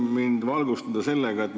Hea juhataja!